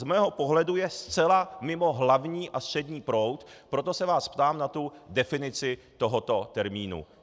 Z mého pohledu je zcela mimo hlavní a střední proud, proto se vás ptám na tu definici tohoto termínu.